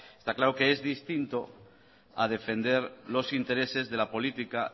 está claro que es distinto a defender los intereses de la política